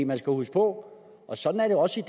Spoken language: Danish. man skal huske på og sådan er det også i